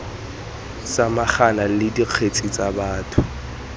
samagana le dikgetse tsa batho